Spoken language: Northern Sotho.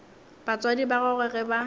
batswadi ba gagwe ge ba